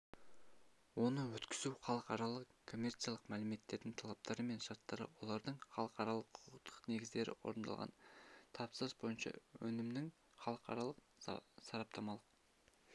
оны өткізу халықаралық-коммерциялық мәмілелердің талаптары мен шарттары олардың халықаралық-құқықтық негіздері орындалған тапсырыс бойынша өнімнің халықаралық-сараптамалық